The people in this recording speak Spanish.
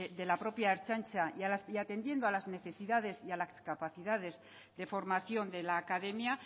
de la propia ertzaintza y atendiendo a las necesidades y a las capacidades de formación de la academia